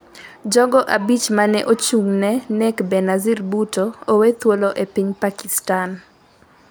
Jogo abich mane ochung'ne nek Benazir Bhutto owethul e piny Pakistan